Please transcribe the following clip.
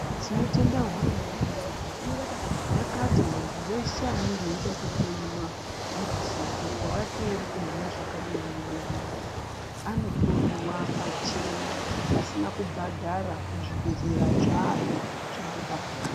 Tinotenda hurumende yedu yakati muntu weshe anenge eida kuhloiwa kuti ropa rake rikumhanga zvakadini mudumbu anohloiwa pachena pasina kubhadhara muzvibhedhlera zvayo zvayakaaka.